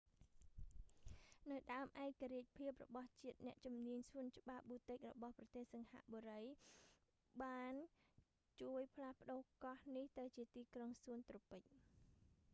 នៅដើមឯករាជ្យភាពរបស់ជាតិ អ្នកជំនាញសួនច្បារបូទិករបស់ប្រទេសសិង្ហបុរី singapore botanic gardens បានជួយផ្លាស់ប្ដូរកោះនេះទៅជាទីក្រុងសួនត្រូពិច garden city